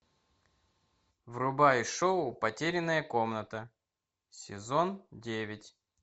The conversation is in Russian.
врубай шоу потерянная комната сезон девять